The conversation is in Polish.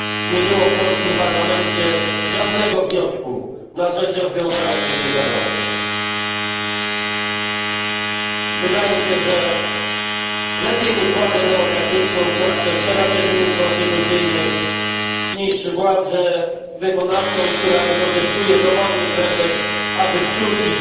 Nie było w polskim parlamencie żadnego wniosku na rzecz wcześniejszego rozwiązania parlamentu. Wydaje się, że lepiej jest mieć władzę demokratyczną, która przestrzega terminów konstytucyjnych, niż władzę wykonawczą, która wykorzystuje dowolny pretekst, aby skrócić